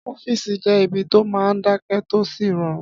Ọ́fìsì jẹ́ ibi tó máa n dákẹ́ tó sì rọrùn